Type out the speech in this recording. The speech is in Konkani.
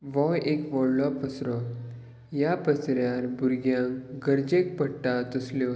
हो एक वडलो पसरो या पसर्यार बुरग्यांक गरजेक पडटा तसल्यो --